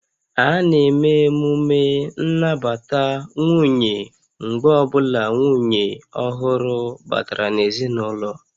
A na-eme emume nnabata nwunye mgbe ọ bụla nwunye ọhụrụ batara n'ezinụlọ